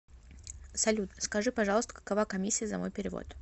салют скажи пожалуйста какова комиссия за мой перевод